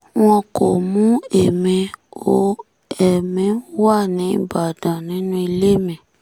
wọn kò mú èmi o ẹ̀mí wá ní ìbàdàn nínú ilé mi